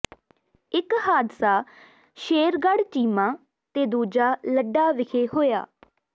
ਇਕ ਹਾਦਸਾ ਸ਼ੇਰਗੜ੍ਹ ਚੀਮਾ ਤੇ ਦੂਜਾ ਲੱਡਾ ਵਿਖੇ ਹੋਇਆ